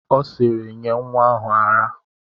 Ọ sịịrị, nye nwa ahụ ara!